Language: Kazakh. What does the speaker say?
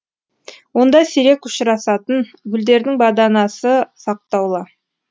онда сирек ұшырасатын гүлдердің баданасы сақтаулы